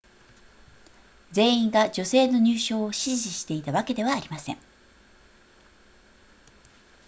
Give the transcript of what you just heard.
全員が女性の入賞を支持していたわけではありません